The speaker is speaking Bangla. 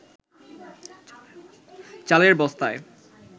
চালের বস্তায়